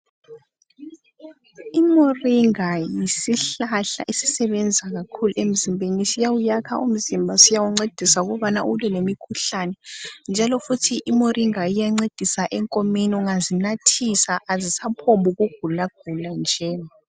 Imuringa yisihlahla esisebenza kakhulu emzimbeni. Siyakha umzimba siyawuncedisa lemikhuhlane njalo futhi imuringa iyancedisa enkomeni ungazinathisa azisagulaguli nje.